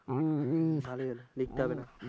ভালোই হল লিখতে হবে না।